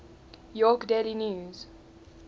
york daily news